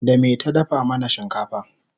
da me ta dafa mana shinkafa?